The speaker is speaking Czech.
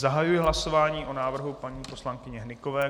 Zahajuji hlasování o návrhu paní poslankyně Hnykové.